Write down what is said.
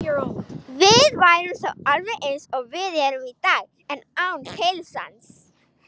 Við værum þá alveg eins og við erum í dag, en án heilans.